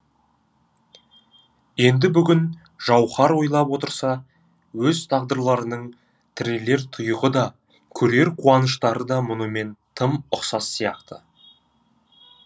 енді бүгін жауһар ойлап отырса өз тағдырларының тірелер тұйығы да көрер қуаныштары да мұнымен тым ұқсас сияқты